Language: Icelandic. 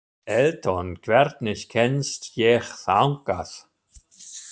Eldon, hvernig kemst ég þangað?